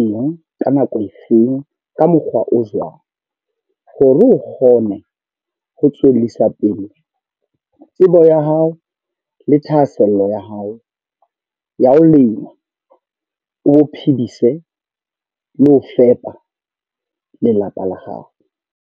eng, ka nako e feng, ka mokgwa o jwang. Hore o kgone ho tswellisa pele o tsebo ho ya hao, le thahasello ya hao ya ho lema. O bo phedise le ho fepa lelapa la hao.